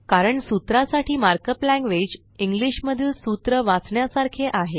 कारण सूत्रा साठी मार्कअप लॅंग्वेज इंग्लीश मधील सूत्र वाचण्यासारखे आहे